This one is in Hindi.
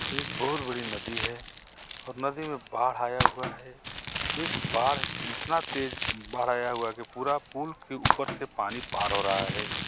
एक बहुत बड़ी नदी है और नदी में बाढ़ आया हुआ है इस बाढ़ इतना तेज बाढ़ आया हुआ कि पूरा पुल के ऊपर से पानी पार हो रहा है.